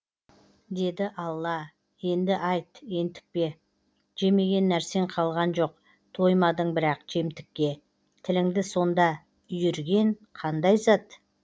деді алла енді айт ентікпе жемеген нәрсең қалған жоқ тоймадың бірақ жемтікке тіліңді сонда үйірген қандай зат